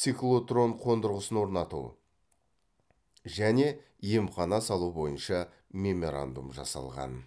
циклотрон қондырғысын орнату және емхана салу бойынша меморандум жасалған